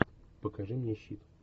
покажи мне щит